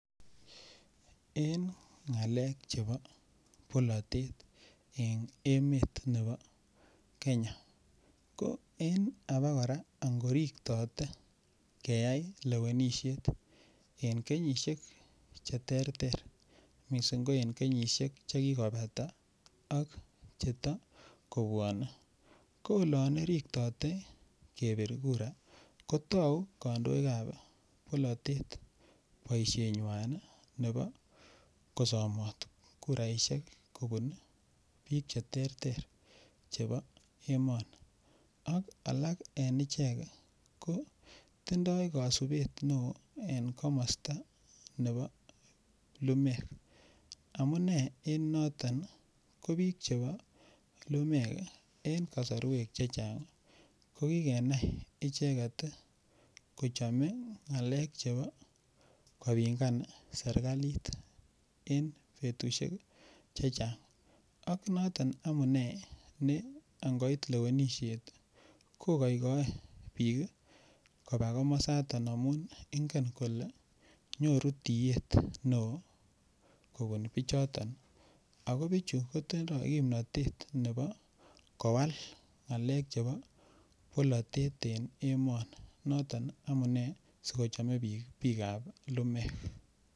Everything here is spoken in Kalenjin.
En ngalek chebo bolatet en emet nebo Kenya ko en abakora angoriktote keyai lewenisiet en kenyisiek Che terter mising ko en kenyisiek Che kikobata ak Che ta kobwanei ko olon riktote kebir kura ko tau kandoik ab bolatet boisienywan nebo ko somot kiraisiek kobun bik Che terter chebo emoni ak alak en ichek ko tindoi kasubet neo en komosta nebo lumeek amune en noto ko bik Che bo lumeek en kasarwek Che Chang ko ki kenai ichek kechome ngalek chebo kopingan serkalit en betusiek Che Chang ak noton amune angoit lewenisiet kogoikoe bik koba komosato amun ingen kole nyoru tiet neo kobun bichoton ago bichu kotindoi kimnatet nebo kowal ngalek chebo bolatet en emoni noton amune si kochome bik lumeek